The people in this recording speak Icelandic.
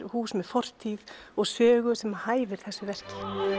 hús með fortíð og sögu sem hæfir þessu verki